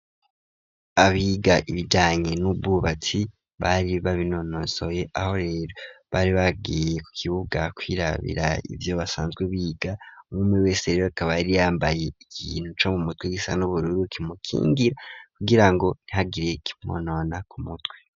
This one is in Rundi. Abiga ibijanye n'ubwubatsi bari babinonosoye aho rero bari bagiye ku kibuga kwirabira ivyo basanzwe biga umwumwe wese rero akaba yari yambaye ikintu co mu mutwe gisa n'ubururu kimukingira kugira ngo ntihagiri iki mwonona ku mutwe.